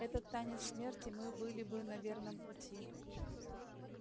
этот танец смерти мы были бы на верном пути